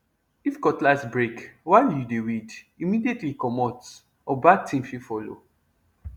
if cutlass break while you dey weed immediately comot or bad thing fit follow